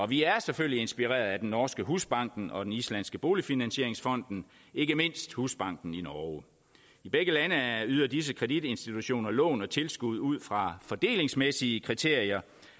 vi er selvfølgelig inspireret af den norske husbanken og den islandske boligfinansieringsfonden ikke mindst husbanken i norge i begge lande yder disse kreditinstitutioner lån og tilskud ud fra fordelingsmæssige kriterier